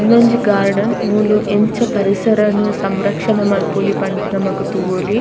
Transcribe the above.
ಉಂದೊಂಜಿ ಗಾರ್ಡನ್ ಮೂಲು ಎಂಚ ಪರಿಸರನ್ ಸಂರಕ್ಷಣೆ ಮಲ್ಪೊಲಿ ಪಂದ್ ನಮಕ್ ತೂವೊಲಿ.